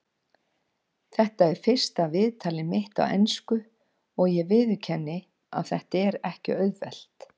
Þetta er fyrsta viðtalið mitt á ensku og ég viðurkenni að þetta er ekki auðvelt.